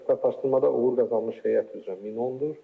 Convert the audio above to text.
Sertifikatlaşdırmada uğur qazanmış heyət üzrə 1100-dür.